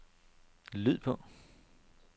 lyd på